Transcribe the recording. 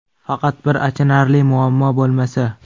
Faqat bir achinarli muammo bo‘lmasa.